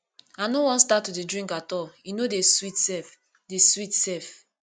i no wan start to dey drink at all e no dey sweet sef dey sweet sef